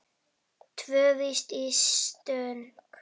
Tvö víti í stöng?